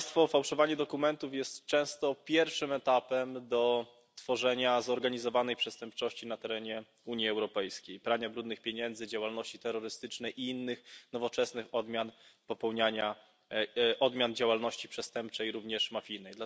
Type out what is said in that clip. Fałszowanie dokumentów jest często pierwszym etapem do tworzenia zorganizowanej przestępczości na terenie Unii Europejskiej prania brudnych pieniędzy, działalności terrorystycznej i innych nowoczesnych odmian działalności przestępczej, również mafijnej.